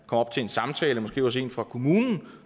op til en samtale måske hos en fra kommunen